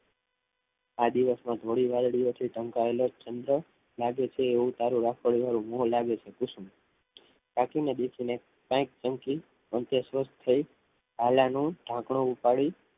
આ દિવસમાં થોડી વાર દિવસે ઠનકાયેલો ચંદ્ર લાગે છે એવું તારું રાખોડી મો તારું લાગે છે કુસુમ કાકી કંઈક સ્વસ્થ થઈ આલાનું ઢાંકણું ઉપાડી